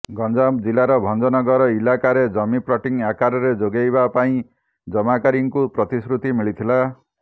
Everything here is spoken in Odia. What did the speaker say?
ଗଞ୍ଜାମ ଜିଲ୍ଲାର ଭଞ୍ଜନଗର ଇଲାକାରେ ଜମି ପ୍ଲଟିଂ ଆକାରରେ ଯୋଗାଇବା ପାଇଁ ଜମାକାରୀଙ୍କୁ ପ୍ରତିଶ୍ରୁତି ମିଳିଥିଲା